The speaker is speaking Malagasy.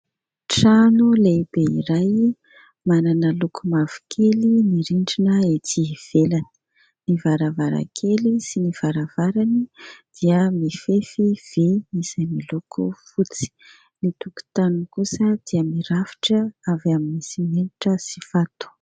Trano lehibe iray manana loko mavokely ny rindrana ety ivelana ny varavarakely sy ny varavarany dia mifefy vy izay miloko fotsy, ny tokontany kosa dia mirafitra avy amin'ny simenitra sy vato.